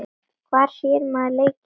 Hvar sér maður leikinn?